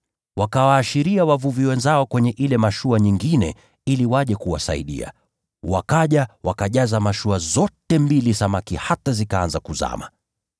Wakawaashiria wavuvi wenzao kwenye ile mashua nyingine ili waje kuwasaidia. Wakaja, wakajaza mashua zote mbili samaki hata zikaanza kuzama.